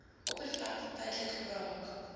oppervlakte tydelik braak